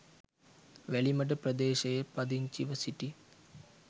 වැලිමඩ ප්‍රදේශයේ පදිංචිව සිටි